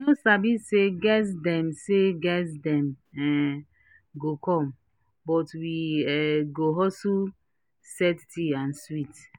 we no sabi say guest dem say guest dem um go come but we um hustle set tea and sweets